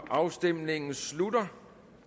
afstemningen slutter